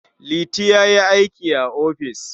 Liti ya yi aiki a ofis.